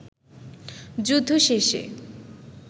যুদ্ধ শেষে